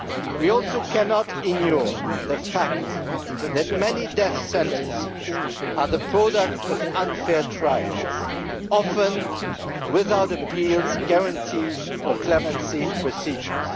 We also cannot ignore the fact that many death sentences are the products of unfair trials, often without appeals, guarantee or clemency procedures.